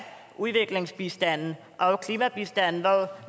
udviklingsbistanden og klimabistanden